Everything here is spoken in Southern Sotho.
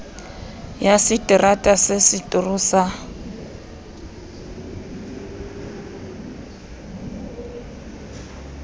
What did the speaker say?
ya seterata sa setoro sa